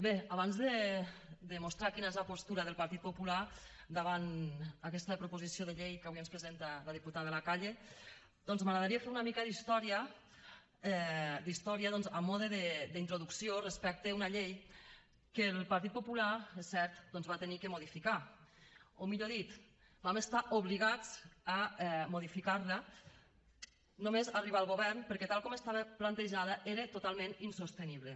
bé abans de mostrar quina és la postura del partit popular davant aquesta proposició de llei que avui ens presenta la diputada de la calle doncs m’agradaria fer una mica d’història a mode d’introducció respecte a una llei que el partit popular és cert va haver de modificar o millor dit vam estar obligats a modificar la només arribar al govern perquè tal com estava plantejada era totalment insostenible